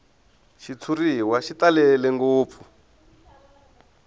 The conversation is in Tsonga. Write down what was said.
xitshuriwa xi talele ngopfu